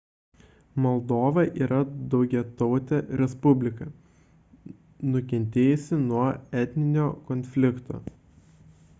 moldova yra daugiatautė respublika nukentėjusi nuo etninio konflikto